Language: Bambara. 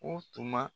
O tuma